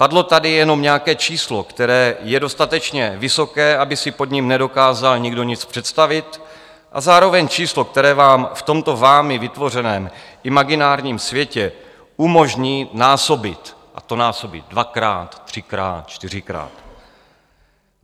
Padlo tady jenom nějaké číslo, které je dostatečně vysoké, aby si pod ním nedokázal nikdo nic představit, a zároveň číslo, které vám v tomto vámi vytvořeném imaginárním světě umožní násobit, a to násobit dvakrát, třikrát, čtyřikrát.